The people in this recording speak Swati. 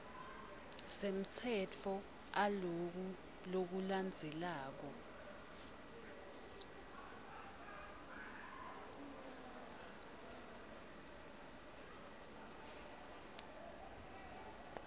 semtsetfo aloku lokulandzelako